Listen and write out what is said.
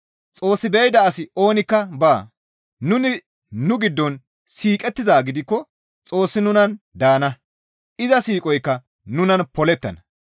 Xoos be7ida asi oonikka baa; nuni nu giddon siiqettizaa gidikko Xoossi nunan daana; iza siiqoykka nunan polettana.